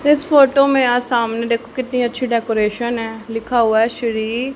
इस फोटो में यहां सामने देखो कितनी अच्छी डेकोरेशन है लिखा हुआ हैं श्री--